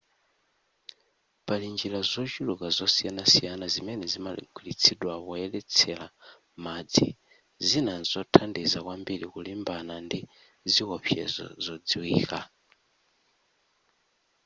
pali njira zochuluka zosiyanasiyana zimene zimagwiritsidwa poyeretsera madzi zina nzothandiza kwambiri kulimbana ndi ziwopsezo zodziwika